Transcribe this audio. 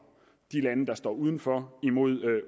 de lande der står uden for imod